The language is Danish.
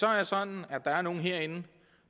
er sådan at der er nogle herinde